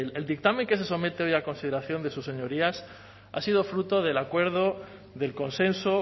el dictamen que se somete hoy a consideración de sus señorías ha sido fruto del acuerdo del consenso